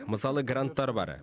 мысалы гранттар бар